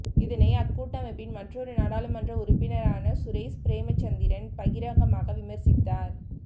இதனை அக்கூட்டமைப்பின் மற்றொரு நாடாளுமன்ற உறுப்பினரான சுரேஷ் பிரேமசந்திரன் பகிரங்கமாக விமர்சித்தார்